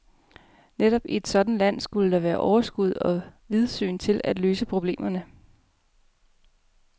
Netop i et sådant land skulle der være overskud og vidsyn til at løse problemerne.